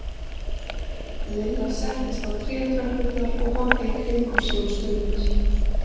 Lilla settist á trétröppurnar og horfði í kringum sig um stund.